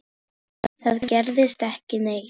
Það gerðist ekki neitt.